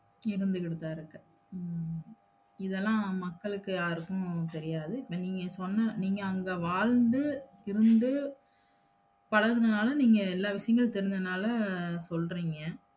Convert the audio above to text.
இருந்திகிட்டுதா இருக்கு உம் இதெல்லாம் மக்களுக்கு யாருக்கும் தெரியாது இப்ப நீங்க சொன்ன நீங்க அங்க வாழ்ந்து இருந்து பழகுனனால நீங்க எல்லா விசயங்களும் தெரிஞ்சனால சொல்றீங்க